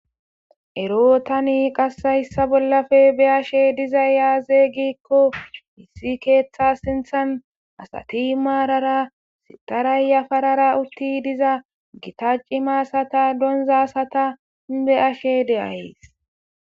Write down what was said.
ero tani qaseyssa bollafe be ashe diza yaazey gikko hissi keeththa sinthan asati maarara sitarayyafarara utti diza gita cimasata donzasata beashe deayys